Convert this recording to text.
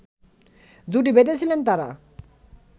জুটি বেঁধেছিলেন তারা